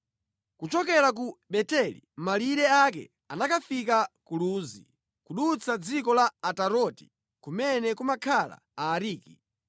Kuchokera ku Beteli malire ake anakafika ku Luzi, kudutsa dziko la Ataroti kumene kumakhala Aariki.